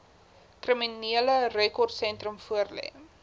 kriminele rekordsentrum voorlê